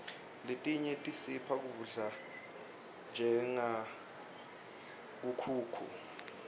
letinye tisipha kudla njengenkhukhu